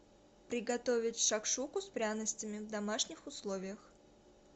приготовить шакшуку с пряностями в домашних условиях